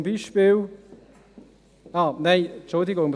Zum Beispiel … Nein, entschuldigen Sie.